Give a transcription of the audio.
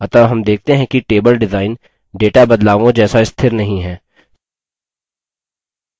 अतः हम देखते हैं कि table डिजाइन data बदलावों जैसा स्थिर नहीं हैं